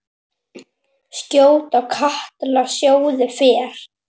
Skjótt á katli sjóða fer.